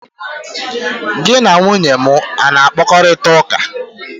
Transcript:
gi na nwunye m a na-akparịta ụka?